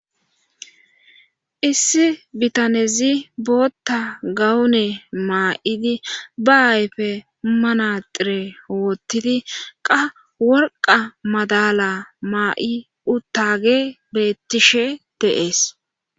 Issi bitanezi bootta gawune maa7idi ba ayfe manaxire woottidi qa worqa madala maa7i uttage beettishe deees